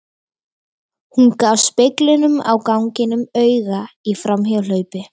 Hún gaf speglinum á ganginum auga í framhjáhlaupi.